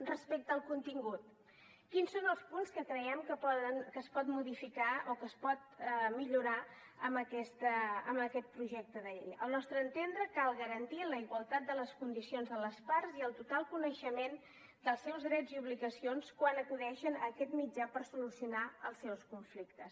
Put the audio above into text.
respecte al contingut quins són els punts que creiem que es poden modificar o que es poden millorar amb aquest projecte de llei al nostre entendre cal garantir la igualtat de les condicions de les parts i el total coneixement dels seus drets i obligacions quan acudeixen a aquest mitjà per solucionar els seus conflictes